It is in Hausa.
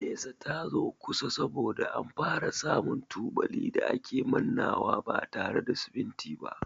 Nesa ta zo kusa saboda an fara samu tubali da a ke mannawa ba tare da siminti ba.